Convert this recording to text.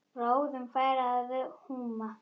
Bráðum færi að húma.